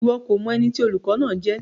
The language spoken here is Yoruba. Iwọ ko mọ ẹni tí olùkọ náà jẹ?